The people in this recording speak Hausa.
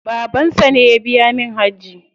Babansa ne ya biya min hajji.